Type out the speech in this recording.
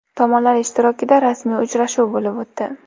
Tomonlar ishtirokida rasmiy uchrashuv bo‘lib o‘tdi.